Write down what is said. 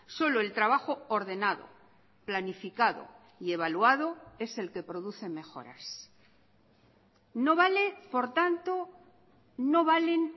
solo el trabajo ordenado planificado y evaluado es el que produce mejoras no vale por tanto no valen